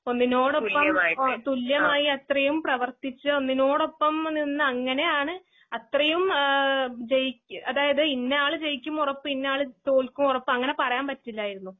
ഒന്നിനോടൊപ്പം തുല്യമായിഅത്രെയുംപ്രവർത്തിച്ച് ഒന്നിനോടൊപ്പംനിന്ന് അങ്ങനെയാണ് അത്രെയും ഏഹ് ഇന്നയാള്ജയിക്കുംഉറപ്പ് ഇന്നയാള്തോൽക്കുംഉറപ്പ് അങ്ങനെപറയാൻപറ്റില്ലാരുന്നു.